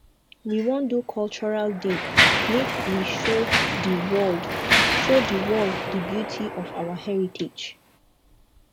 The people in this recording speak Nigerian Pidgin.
we wan do cultural day make we show di world show di world di beauty of our heritage